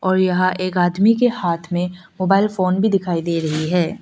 और यहां एक आदमी के हाथ मे मोबाइल फोन भी दिखाई दे रही है।